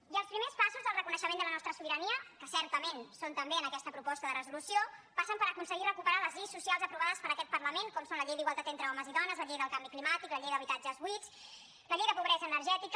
i els primers passos del reconeixement de la nostra sobirania que certament són també en aquesta proposta de resolució passen per aconseguir recuperar les lleis socials aprovades per aquest parlament com són la llei d’igualtat entre homes i dones la llei del canvi climàtic la llei d’habitatges buits la llei de pobresa energètica